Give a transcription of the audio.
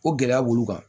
Ko gɛlɛya b'olu kan